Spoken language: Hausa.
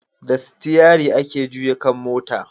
Da sitiyari ake juya kan mota